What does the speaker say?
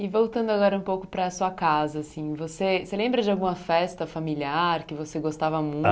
E voltando agora um pouco para a sua casa assim, você você lembra de alguma festa familiar que você gostava